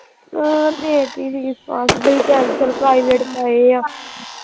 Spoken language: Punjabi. ਹੋਰ ਦੇਤੀ fees ਫਾਸ ਬੜੀ tension private ਪਏ ਆ।